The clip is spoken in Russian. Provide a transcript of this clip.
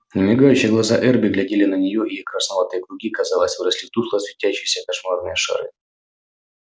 немигающие глаза эрби глядели на неё и их красноватые круги казалось выросли в тускло светящиеся кошмарные шары